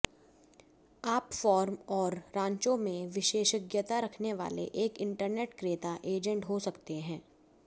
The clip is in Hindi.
आप फार्म और रांचों में विशेषज्ञता रखने वाले एक इंटरनेट क्रेता एजेंट हो सकते हैं